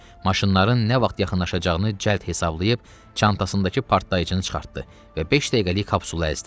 Maşınların nə vaxt yaxınlaşacağını cəld hesablayıb, çantasındakı partlayıcını çıxartdı və beş dəqiqəlik kapsula əzdi.